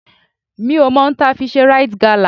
Mi ò mọ ohun tí a fi ṣe Rite gala.